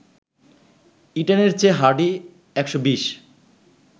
ইটনের চেয়ে হার্ডি ১২০